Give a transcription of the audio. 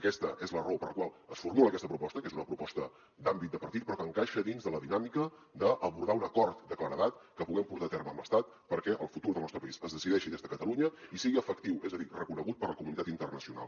aquesta és la raó per la qual es formula aquesta proposta que és una proposta d’àmbit de partit però que encaixa dins de la dinàmica d’abordar un acord de claredat que puguem portar a terme amb l’estat perquè el futur del nostre país es decideixi des de catalunya i sigui efectiu és a dir reconegut per la comunitat internacional